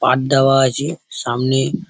পাট দেওয়া আছে সামনে-- ।